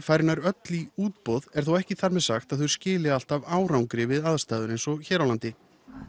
fari nær öll í útboð er þó ekki þar með sagt að þau skili alltaf árangri við aðstæður eins og hér á landi